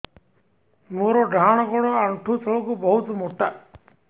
ମୋର ଡାହାଣ ଗୋଡ ଆଣ୍ଠୁ ତଳୁକୁ ବହୁତ ମୋଟା